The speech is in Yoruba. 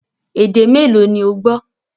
Èdè mẹ́ẹ́lo ni ó gbọ́?